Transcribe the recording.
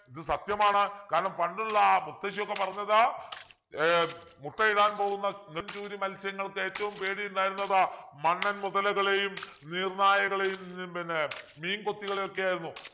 ഇത് സത്യമാണ് കാരണം പണ്ടുള്ളാ മുത്തശിയൊക്കെ പറഞ്ഞത് ഏർ മുട്ടയിടാൻ പോകുന്ന നെടും ചൂരി മത്സ്യങ്ങൾക്ക് ഏറ്റവും പേടി ഉണ്ടായിരുന്നത് മണ്ണൻ മുതലകളെയും നീർനായകളെയും ഉം പിന്നെ മീൻകൊത്തികളെയൊക്കെ ആയിരുന്നു